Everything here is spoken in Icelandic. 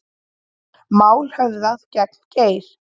Mál höfðað gegn Geir